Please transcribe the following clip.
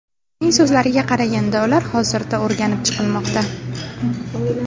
Uning so‘zlariga qaraganda, ular hozirda o‘rganib chiqilmoqda.